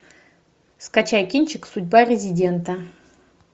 скачай кинчик судьба резидента